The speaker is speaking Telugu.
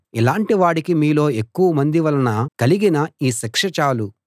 అలాంటి వాడికి మీలో ఎక్కువమంది వలన కలిగిన ఈ శిక్ష చాలు